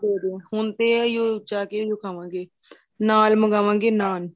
ਗਏ ਨੂੰ ਹੁਣ ਤੇ ਜਾਕੇ ਏਹੀ ਔਹ ਖਾਵਾਗੇਂ ਨਾਲ ਮਗਾਵਾਗੇ ਨਾਨ